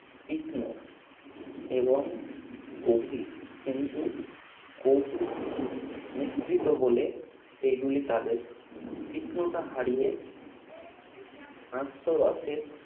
তীক্ষ্ণ এবং গভীর কিন্তু কৌতুক মিশ্রিত বলে সেগুলি তাদের তীক্ষ্ণতা হারিয়ে হাস্যরসে